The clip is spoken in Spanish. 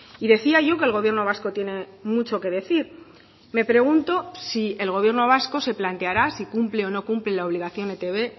y decía yo que el gobierno vasco tiene mucho que decir me pregunto si el gobierno vasco se planteará si cumple o no cumple la obligación de etb